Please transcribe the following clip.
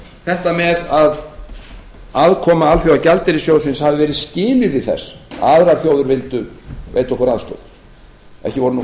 þetta með að aðkoma alþjóðagjaldeyrissjóðsins hafi verið skilyrði þess að aðrar þjóðir vildu veita okkur aðstoð ekki voru